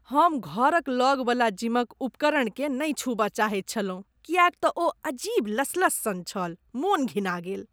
हम घरक लगवला जिमक उपकरणकेँ नहि छूबय चाहैत छलहुँ किएक तँ ओ अजीब लसलस सन छल, मन घिना गेल।